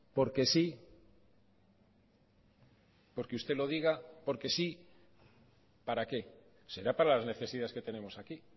porque sí porque usted lo diga porque sí para qué será para las necesidades que tenemos aquí